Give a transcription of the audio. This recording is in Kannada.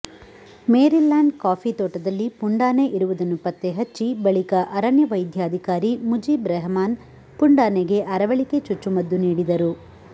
ಮೇರಿಲ್ಯಾಂಡ್ ಕಾಫಿ ತೋಟದಲ್ಲಿ ಪುಂಡಾನೆ ಇರುವುದನ್ನು ಪತ್ತೆಹಚ್ಚಿ ಬಳಿಕ ಅರಣ್ಯ ವೈದ್ಯಾಧಿಕಾರಿ ಮುಜೀಬ್ ರೆಹಮಾನ್ ಪುಂಡಾನೆಗೆ ಅರವಳಿಕೆ ಚುಚ್ಚುಮದ್ದು ನೀಡಿದರು